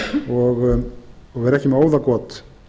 og vera ekki með óðagot